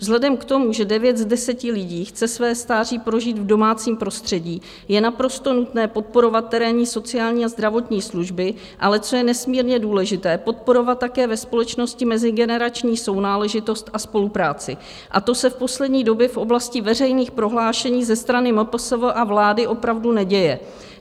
Vzhledem k tomu, že 9 z 10 lidí chce své stáří prožít v domácím prostředí, je naprosto nutné podporovat terénní sociální a zdravotní služby, ale co je nesmírně důležité, podporovat také ve společnosti mezigenerační sounáležitost a spolupráci, a to se v poslední době v oblasti veřejných prohlášení ze strany MPSV a vlády opravdu neděje.